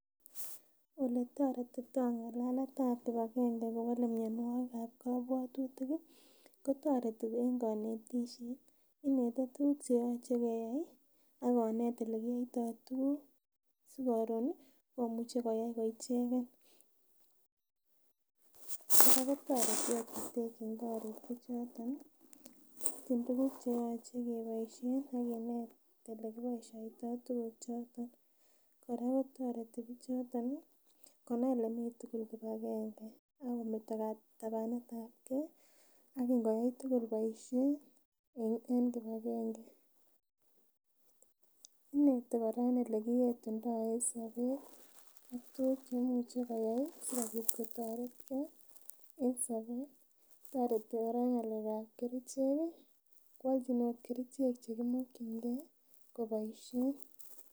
Eletoretitoo ng'alaletab kibagange kowole mionwogik ab kobwotutik ih kotoreti en konetisiet, ineti tuguk cheyoche keyai ih akonet elekiyoitoo tuguk sikoron ih komuche koyai ko icheken. Kora kotoreti ot kotekyin korik bichoton ih ipchin tuguk cheyoche keboisien ak kinet elekiboisiotoo tuguk choton. Kora kotoreti bichoton ih konai kole mii tugul kibagange akometo katabanet ab kee ak in koyai tugul boisiet en kibagange. Ineti kora elekiyetundoo en sobet ak tuguk cheimuchi koyai ih sikobit kotoretgee en sobet. Tora kora en ng'alek ab kerichek ih koalchin ot kerichek chekimokyingee koboisien